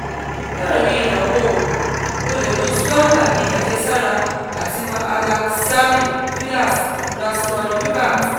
láàrin àwọn oògùn o lè lo swamla bí àjẹsára àti mahalakshami vilas ras swarn yukat